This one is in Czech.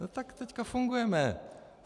No tak teď fungujeme.